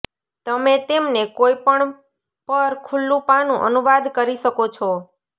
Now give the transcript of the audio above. તમે તેમને કોઈપણ પર ખુલ્લું પાનું અનુવાદ કરી શકો છો